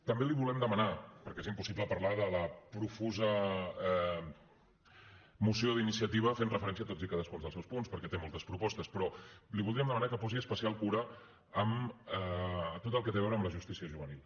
també li voldríem demanar perquè és impossible parlar de la profusa moció d’iniciativa fent referència a tots i cadascun dels seus punts perquè té moltes propostes que posi especial cura en tot el que té a veure amb la justícia juvenil